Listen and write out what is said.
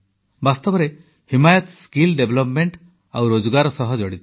ବାସ୍ତବରେ ହିମାୟତ ଦକ୍ଷତା ବିକାଶ ଓ ରୋଜଗାର ସହ ଜଡ଼ିତ